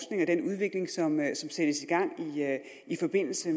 den udvikling som sættes i gang i forbindelse